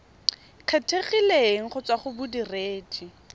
kgethegileng go tswa go bodiredi